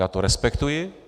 Já to respektuji.